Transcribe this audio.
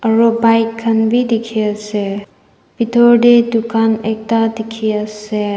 aroo bike khan bi diki asae bitor dae tukan ekta diki asae.